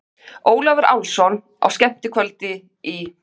Ólafur Álfsson á skemmtikvöldi í